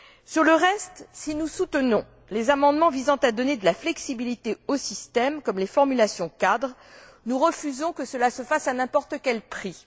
Sur le reste, si nous soutenons les amendements visant à donner de la flexibilité au système, comme les formulations cadres, nous refusons que cela se fasse à n'importe quel prix.